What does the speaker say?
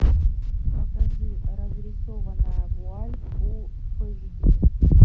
покажи разрисованная вуаль фул эйч ди